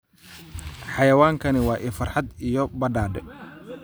Xayawaankani waa il farxad iyo badhaadhe.